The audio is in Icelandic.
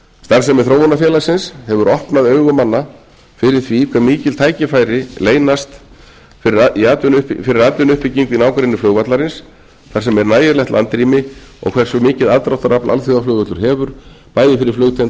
starfsemi þróunarfélagsins hefur opnað augu manna fyrir því hve mikil tækifæri leynast fyrir atvinnuuppbyggingu í nágrenni flugvallarins þar sem er nægilegt landrými og hversu mikið aðdráttarafl alþjóðaflugvöllur hefur bæði fyrir flugtengda